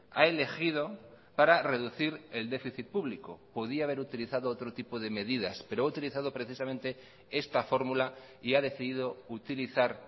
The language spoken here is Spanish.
ha elegido para reducir el déficit público podía haber utilizado otro tipo de medidas pero ha utilizado precisamente esta fórmula y ha decidido utilizar